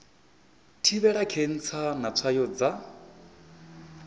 thivhela khentsa na tswayo dza